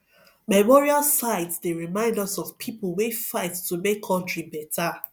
memorial sites dey remind us of people wey fight to make country better